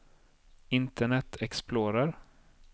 internet explorer